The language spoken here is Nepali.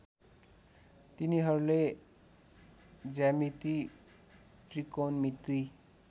तिनीहरूले ज्यामिति त्रिकोणमिति